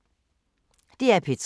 DR P3